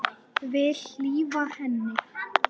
Vil hlífa henni.